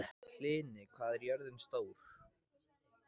Hlini, hvað er jörðin stór?